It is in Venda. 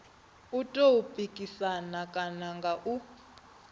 tou pikisana kana nga u